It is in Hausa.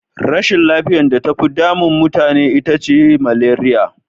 Rashin lafiyar da tafi damu mutane ita ce maleriya.